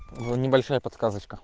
ну небольшая подсказочка